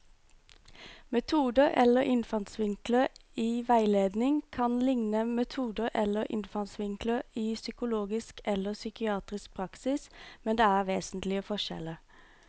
Metoder eller innfallsvinkler i veiledning kan likne metoder eller innfallsvinkler i psykologisk eller psykiatrisk praksis, men det er vesentlige forskjeller.